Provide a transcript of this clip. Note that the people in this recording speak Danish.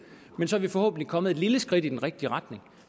men så er vi forhåbentlig kommet et lille skridt i den rigtige retning